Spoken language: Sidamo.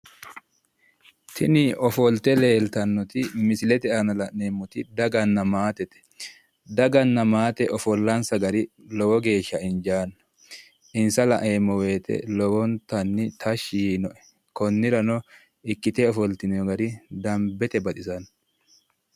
Tini ofolte leeltannoti misilete aana la'neemmoti daganna maatete. Daganna maate ofollansa gari lowo geeshsha injaanno. Insa laeemmo woyite lowontanni tashshi yiinoe. Konnirano ikkite ofoltinoyi gari dambete baxisanno.